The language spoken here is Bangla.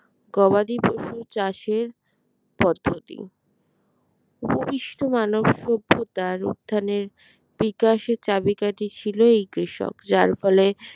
গবাদি পশুর চাষের পদ্ধতি অপকৃষ্ট মানব সভ্যতার উত্থানের বিকাশে চাবিকাঠি ছিল এই কৃষক যার ফলে